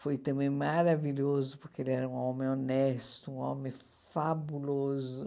Foi também maravilhoso, porque ele era um homem honesto, um homem fabuloso.